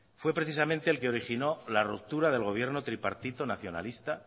fue precisamente el que originó la ruptura del gobierno tripartito nacionalista